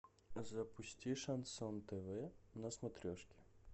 запусти шансон тв на смотрешке